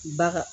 Baga